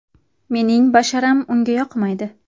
Mening basharam unga yoqmaydi.